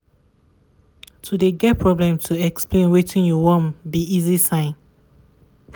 to de get problem to explain wetin you want be easy sign.